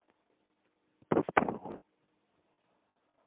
поспелову